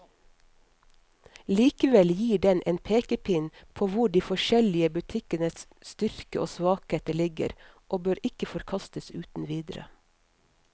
Likevel gir den en pekepinn på hvor de forskjellige butikkenes styrker og svakheter ligger, og bør ikke forkastes uten videre.